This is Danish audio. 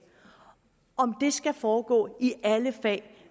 om det skal foregå i alle fag